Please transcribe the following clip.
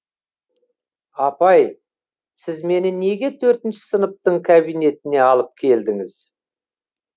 апай сіз мені неге төртінші сыныптың кабинентіне алып келдіңіз